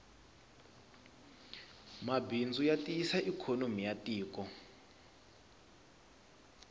mabindzu matiyisa ikonomi yatiko